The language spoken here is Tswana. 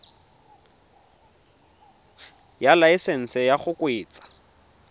ya laesesnse ya go kgweetsa